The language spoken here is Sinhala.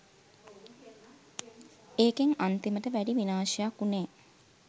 ඒකෙන් අන්තිමට වැඩි විනාශයක් උනේ